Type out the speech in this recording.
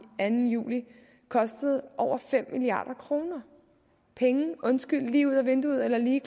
anden juli kostede over fem milliard kroner undskyld men lige ud af vinduet eller lige